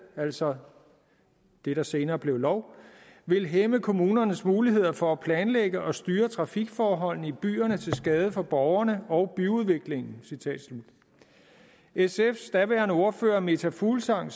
altså det der senere blev lov vil hæmme kommunernes muligheder for at planlægge og styre trafikforholdene i byerne til skade for borgerne og byudviklingen sfs daværende ordfører meta fuglsang